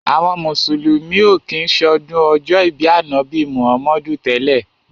Àwọn mùsùlùmí ò kí ń ṣọdún ọjọ́ ìbí Ànábì Muhammadu tẹ́lẹ̀.